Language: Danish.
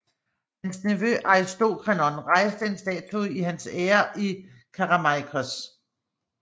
Hans nevø Aristokreon rejste en statue i hans ære i Kerameikos